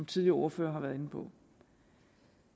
tidligere ordførere har været inde på